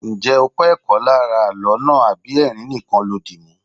Ǹjẹ́ ó kó ẹ̀kọ́ lára àló náà àbí ẹrin nìkan lo dìmú?